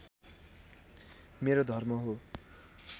मेरो धर्म हो